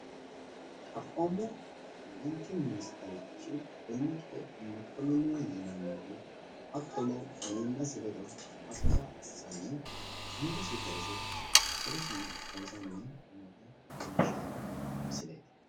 xaphoomu layiinki ministerchi demmeqe mokkonninihu hattono miillasi ledo hasaawa assanni angasi kayiise hedosino xawisanni noota leellishshanno misileeti.